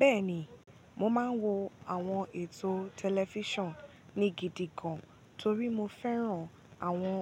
Bẹ́ẹ̀ni, mo máa ń wo àwọn ètò tẹlifíṣàn ni gidi gan, torí mo fẹ́ràn àwọn